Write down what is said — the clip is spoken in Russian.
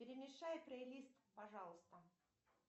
перемешай плейлист пожалуйста